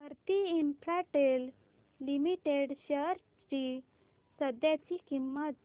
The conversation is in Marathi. भारती इन्फ्राटेल लिमिटेड शेअर्स ची सध्याची किंमत